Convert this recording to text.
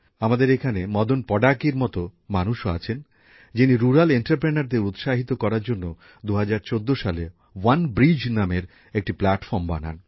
আমাদের এখানে মদন পডাকির মত মানুষও আছেন যিনি গ্রামাঞ্চলে শিল্পোদ্যোগীদের উৎসাহিত করার জন্য ২০১৪ সালে ওয়ানব্রিজ নামের একটি প্লাটফর্ম বানান